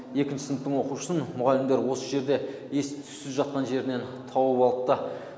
екінші сыныптың оқушысын мұғалімдер осы жерде ес түзсіз жатқан жерінен тауып алыпты